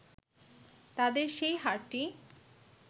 তাদের সেই হারটি